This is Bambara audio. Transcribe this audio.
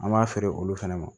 An b'a feere olu fɛnɛ ma